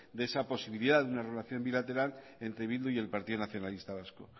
de esa posibilidad de una relación bilateral entre bildu y el partido nacionalista vasco